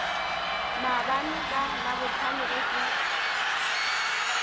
maabane ka labohlano ge ke